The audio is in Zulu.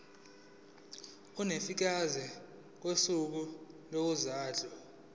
ulifiakela kwisikulu sezondlo